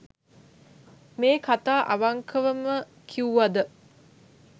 මේ කතා අවංකවම කිව්වද